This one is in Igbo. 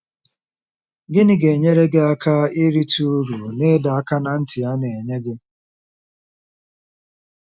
Gịnị ga-enyere gị aka irite uru ná ịdọ aka ná ntị a na-enye gị?